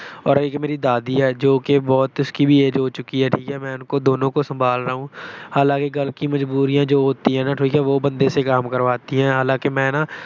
ਔਰ ਏਕ ਮੇਰੀ ਦਾਦੀ ਹੈ, ਜੋ ਕਿ ਬਹੁਤ ਉਸਕੀ ਵੀ age ਹੋ ਚੁੱਕੀ ਹੈ। ਠੀਕ ਹੈ। ਮੈਂ ਉਸਕੋ ਦੋਨੋਂ ਕੋ ਸੰਭਾਲ ਰਹਾ ਹੂੰ। ਹਾਲਾਂਕਿ ਘਰ ਕੀ ਮਜਬੂਰੀਆਂ ਜੋ ਹੋਤੀ ਹੈ, ਵੋ ਬੰਦੇ ਸੇ ਕਾਮ ਕਰਵਾਤੀ ਹੈਂ, ਹਾਲਾਂਕਿ ਮੈਂ ਨਾ